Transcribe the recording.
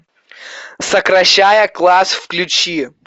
сокращая класс включи